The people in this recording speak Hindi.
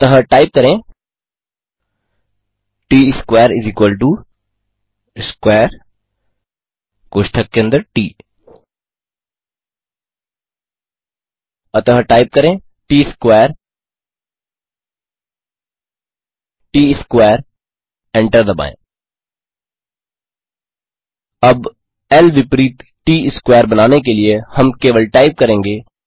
अतः टाइप करें Tsquaresquare कोष्ठक के अंदर ट त्सक़ौरे एंटर दबाएँ अब ल विपरीत ट स्क्वेयर बनाने के लिए हम केवल टाइप करेंगे